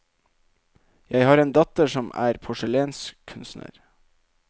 Jeg har en datter som er porselenskunstner.